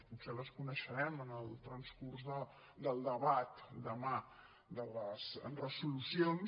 potser les coneixerem en el transcurs del debat demà de les resolucions